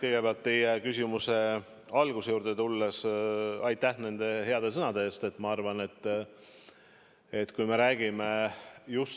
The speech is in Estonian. Kõigepealt teie küsimuse alguse juurde tulles: aitäh nende heade sõnade eest!